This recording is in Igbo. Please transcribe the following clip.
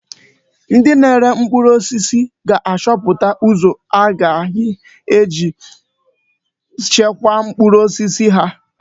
Ndị na-ere mkpụrụ osisi ga-achọpụta ụzọ ha ga-eji chekwaa mkpụrụ osisi ha.